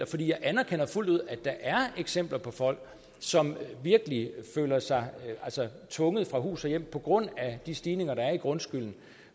for jeg anerkender fuldt ud at der er eksempler på folk som virkelig føler sig tvunget fra hus og hjem på grund af de stigninger der er i grundskylden